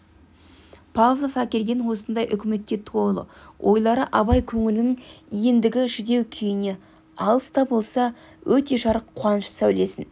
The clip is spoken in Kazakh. павлов әкелген осындай үмітке толы ойлары абай көңілінің ендігі жүдеу күйіне алыс та болса өте жарық қуаныш сәулесін